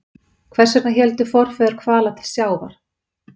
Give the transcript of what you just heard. Hvers vegna héldu forfeður hvala til sjávar?